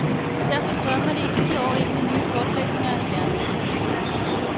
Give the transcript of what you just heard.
Derfor strømmer det i disse år ind med nye kortlægninger af hjernens funktioner.